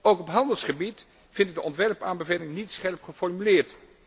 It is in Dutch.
Ook op handelsgebied vind ik de ontwerpaanbeveling niet scherp geformuleerd.